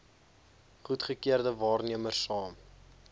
goedgekeurde waarnemers saam